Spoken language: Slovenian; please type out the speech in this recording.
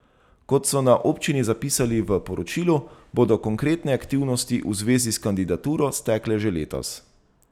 Kot so na občini zapisali v poročilu, bodo konkretne aktivnosti v zvezi s kandidaturo stekle že letos.